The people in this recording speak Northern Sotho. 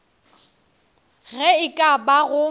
ge e ka ba go